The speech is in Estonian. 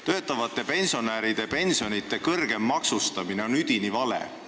Töötavate pensionäride pensionide kõrgem maksustamine on üdini vale.